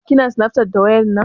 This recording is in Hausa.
Kina snafcat da wayar nan?